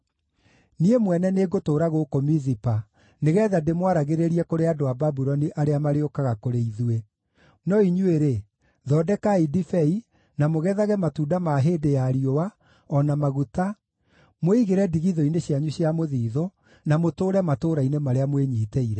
Niĩ mwene nĩngũtũũra gũkũ Mizipa nĩgeetha ndĩmwaragĩrĩrie kũrĩ andũ a Babuloni arĩa marĩũkaga kũrĩ ithuĩ, no inyuĩ-rĩ, thondekai ndibei, na mũgethage matunda ma hĩndĩ ya riũa, o na maguta, mwĩigĩre ndigithũ-inĩ cianyu cia mũthiithũ, na mũtũũre matũũra-inĩ marĩa mwĩnyiitĩire.”